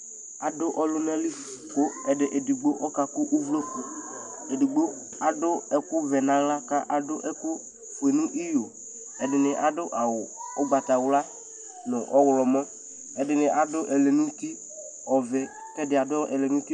Aɖʊ ɔlʊnalɩ Ƙéɖɩgbo ƙakʊ ʊwlokʊ Éɖigbo aɖʊ ɛƙʊ wɛ ŋahla, ƙaɖʊ ɛkʊ ƒoé ŋɩƴo Ɛɖɩŋɩ aɖʊ awʊ ʊgbatawla ŋu ʊwlɔmɔ Ɛɖɩŋɩ aɖʊ ɛlɛŋutɩ ɔʋɛ ƙɛɖɩŋɩ aɖʊ ɛlɛŋʊti